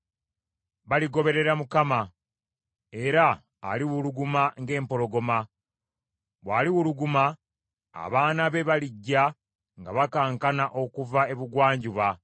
Baligoberera Mukama ; era aliwuluguma ng’empologoma. Bw’aliwuluguma, abaana be balijja nga bakankana okuva ebugwanjuba.